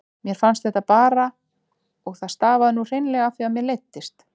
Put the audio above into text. Mér fannst þetta bara og það stafaði nú hreinlega af því að mér leiddist.